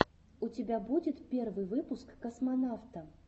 у тебя будет первый выпуск космонавта